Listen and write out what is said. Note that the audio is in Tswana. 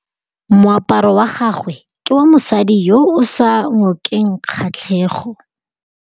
Moaparô wa gagwe ke wa mosadi yo o sa ngôkeng kgatlhegô.